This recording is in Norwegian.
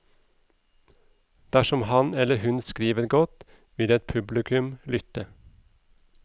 Dersom han eller hun skriver godt, vil et publikum lytte.